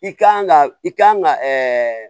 I kan ka i kan ka ɛɛ